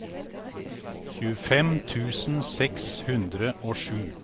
tjuefem tusen seks hundre og sju